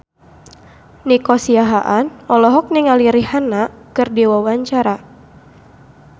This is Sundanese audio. Nico Siahaan olohok ningali Rihanna keur diwawancara